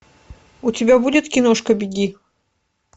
у тебя будет киношка беги